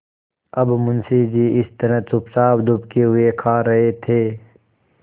अब मुंशी जी इस तरह चुपचाप दुबके हुए खा रहे थे